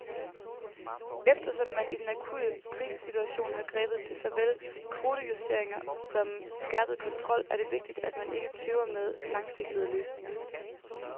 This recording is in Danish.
Eftersom man i den akutte krisesituation har grebet til såvel kvotejusteringer som skærpet kontrol, er det vigtigt, at man ikke tøver med langsigtede løsninger.